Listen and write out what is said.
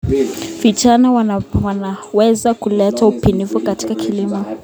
Vijana wanaweza kuleta ubunifu katika kilimo.